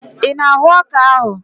Ị na-ahụ ọka ahụ?